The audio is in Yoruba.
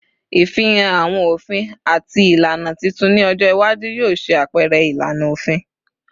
Ifihan awọn ofin ati ilana titun ni ọjọ iwaju yoo ṣe apẹrẹ ilana ofin